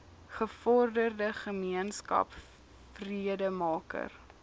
gevorderde gemeenskap vredemaker